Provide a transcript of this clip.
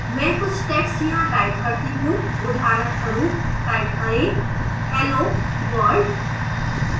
मैं कुछ text यहाँ type करती हूँ उदाहरणस्वरूप type करें hello world